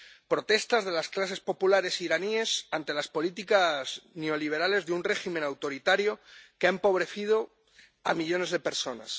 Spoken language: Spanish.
Protestas de las clases populares iraníes ante las políticas neoliberales de un régimen autoritario que ha empobrecido a millones de personas.